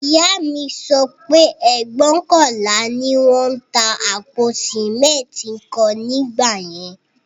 Ìyá mi sọ pé ẹgbóokànlá ni wón ń ta àpò sìmẹ́ntì kan ní ìgbà yẹn